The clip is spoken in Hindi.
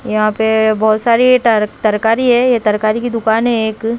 यहाँ पे बहुत सारी तरकारी है यह तरकारी की दुकान है एक।